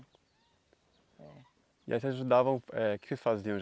E aí vocês ajudavam, eh o que vocês faziam?